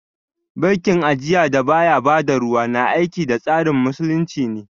Bankin ajiya da baya ba da ruwa, na aiki da tsarin Musulunci ne